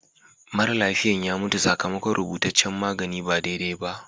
Mara lafiyan ya mutu sakamakon rubutaccen magani ba daidai ba.